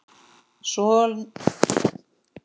Sonur Elínar er Pétur Þór.